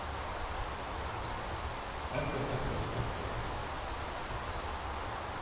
En hvað er það skemmtilegasta við þetta allt saman?